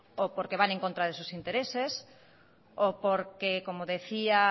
o porque van en contra de sus intereses o porque como decía